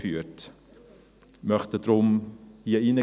Wir möchten deshalb hier reingeben: